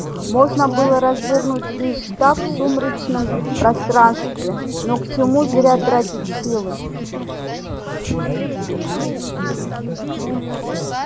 можно было развернуть весь штаб в сумеречном пространстве но к чему зря тратить силы